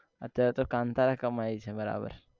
અત્યારે તો કાનથારા એ કમાય છે બરાબર